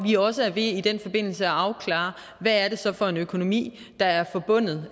vi også i den forbindelse at afklare hvad det så er for en økonomi der er forbundet